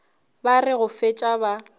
ba re go fetša ba